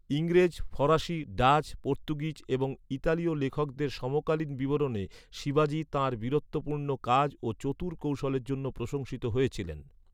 ইংরেজ, ফরাসি, ডাচ, পর্তুগিজ এবং ইতালীয় লেখকদের সমকালীন বিবরণে শিবাজি তাঁর বীরত্বপূর্ণ কাজ ও চতুর কৌশলের জন্য প্রশংসিত হয়েছিলেন।